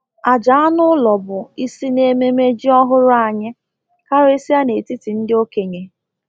Àjà anụ ụlọ bụ isi n'ememme ji ọhụrụ anyị, karịsịa n'etiti ndị okenye.